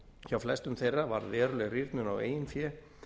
hjá flestum þeirra varð veruleg rýrnun á eigin fé